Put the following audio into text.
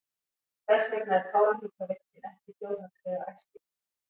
Þess vegna er Kárahnjúkavirkjun ekki þjóðhagslega æskileg.